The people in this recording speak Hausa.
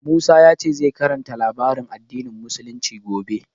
Musa ya ce zai karanta labaran addinin Musulunci gobe.